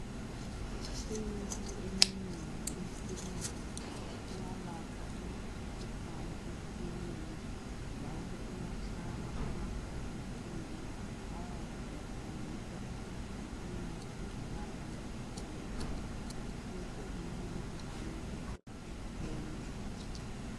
lmithi eminengi yesilungu iyalapha imikhuhlane etshiyeneyo njalo iyafakwa emabhokisini ayabe etshengisa ukuthi umuthi ulapha mkhuhlane bani ukuze umuntu eyenelise ukuthenga.